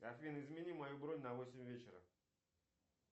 афина измени мою бронь на восемь вечера